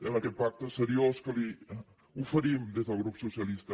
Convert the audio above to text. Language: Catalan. amb aquest pacte seriós que li oferim des del grup socialista